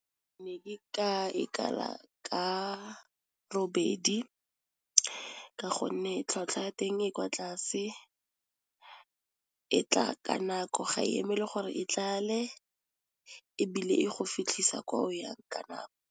Ne ke ka ikala ka robedi ka gonne tlhatlhwa ya teng e kwa tlase, e tla ka nako ga eme le gore e tlale, ebile e go fitlhisa kwa o yang ka nako.